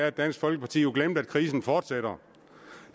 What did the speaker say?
at dansk folkeparti har glemt at krisen fortsætter